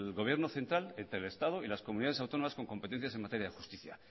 gobierno central el estado y las comunidades autónomas con competencias en materia de justicia